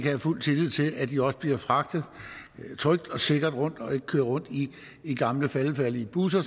have fuld tillid til at de også bliver fragtet trygt og sikkert rundt og ikke bliver kørt rundt i gamle faldefærdige busser